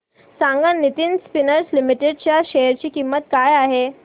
सांगा Nitin spinners limited च्या share ची किंमत काय आहे